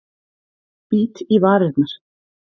Bít í varirnar.